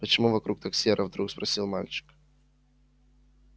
почему вокруг так серо вдруг спросил мальчик